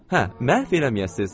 Hə, məhv eləməyəsiz.